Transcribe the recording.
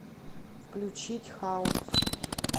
включить хаус